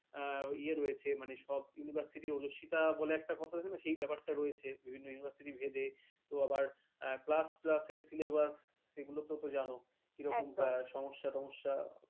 ইয়া রয়েছে মানে সব university অজস্বিতা তাহলে একটা কথা জানো সেই ব্যাপার টা রয়েছে university ভেবে তো আবার class syllabus সেগুলো তো জানো কি রকম ব্যাপার একদম সমস্যা টমস্স্য